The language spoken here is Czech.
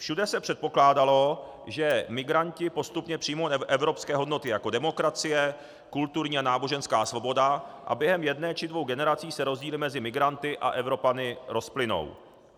Všude se předpokládalo, že migranti postupně přijmou evropské hodnoty, jako demokracie, kulturní a náboženská svoboda, a během jedné či dvou generací se rozdíly mezi migranty a Evropany rozplynou.